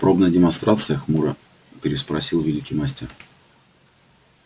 пробная демонстрация хмуро переспросил великий мастер